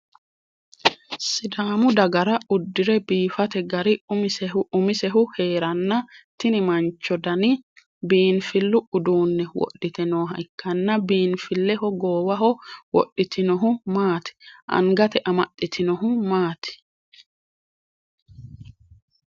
Sidaamu dagara udire biifate gari umisehu heeranna tinni mancho danni biinfilu uduunni wodhite nooha ikanna biinfileho goowaho wodhitinohu maati? Angate amaxitinohu maati?